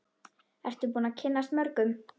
Ertu búin að kynnast mörgum?